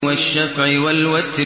وَالشَّفْعِ وَالْوَتْرِ